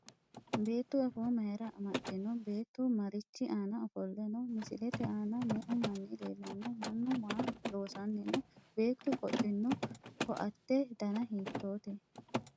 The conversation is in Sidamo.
Beettu afoo mayira amaxxino? Beettu marichi aana ofolle no? Misilete aana me'u manni leellanno? mannu maa loosanni no? Beettu qodhino? ko'atte dana hiittoote?